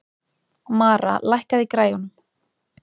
Mara, lækkaðu í græjunum.